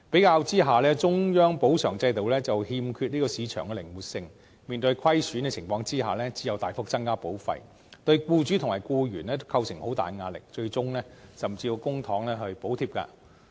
相比之下，中央保償制度欠缺市場靈活性，面對虧損時只能大幅增加保費，對僱主和僱員都構成很大的壓力，最終甚至要用公帑補貼。